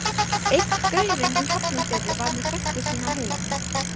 Einn gaurinn í Hafnarfirði var með frænku sína á heilanum.